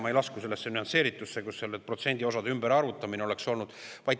Ma ei lasku sellesse nüansseeritusse, kus nende protsendiosade ümberarvutamine oleks olnud.